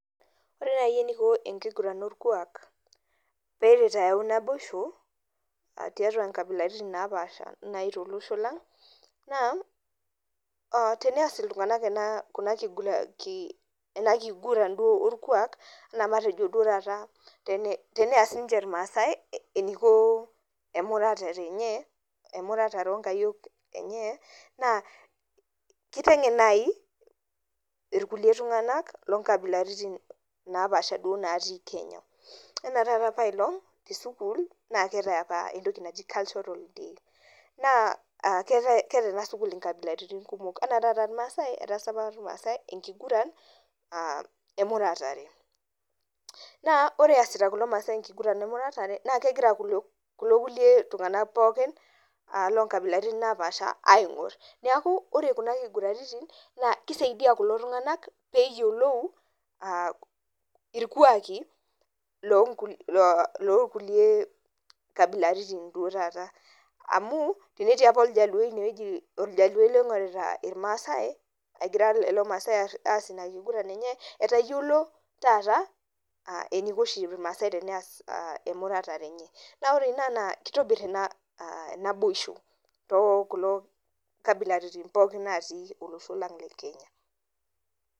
Ore nai eniko enkiguran orkuak pelo ayau naboisho tiatua nkabilaitin napasha tolosho lang na tenas ltunganak enakiguran orkuak matejo nai teneas irmaasai emurata onkayiok enye na kitengen nai irkulie tunganak lonkabilaitin napaasha natii kenya anaa apa tesukul keetae entoki naji cultural week na keetae enasukul nkabilaitin kumok anaa tanakata irmaasai etaasa apa irmaasai enkigura emuratare na ore easita irmaasai enkuguranbemutatare ba kegira ltunganak lomuruan napaasha aingu neaku ore kuna kuguraitini kisaidia lulo tunganak peyiolou irkuakki lonkulie abilaitin netayiolo taata eniko irmaasa peas emurata enye na ore ina na kitobir naboisho tonkabilaitin natii olosho le Kenya